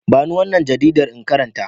Ba ni wannan jaridar in karanta.